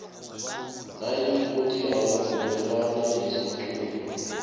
nayikuthi awuvumelani nesiqunto